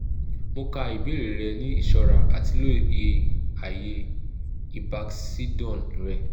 mo ka ibeere rẹ ni iṣọra ati loye aaye ibakcdun rẹ